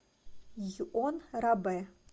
йон рабе